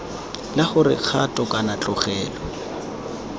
la gore kgato kana tlogelo